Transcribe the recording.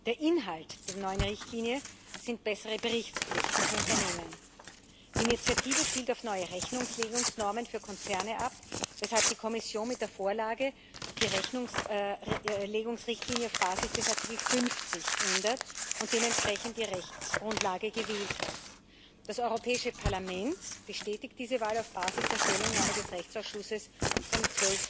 Der Inhalt der neuen Richtlinie sind bessere Berichtspflichten für Unternehmen. Die Initiative zielt auf neue Rechnungslegungsnormen für Konzerne ab, weshalb die Kommission mit der Vorlage die Rechnungslegungsrichtlinie auf Basis des Artikels 50 ändert und dementsprechend die Rechtsgrundlage gewählt hat. Das Europäische Parlament bestätigt diese Wahl auf Basis der Stellungnahme des Rechtsausschusses vom